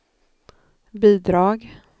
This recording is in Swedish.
bidrag